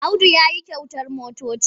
Audu ya yi kyautar motoci.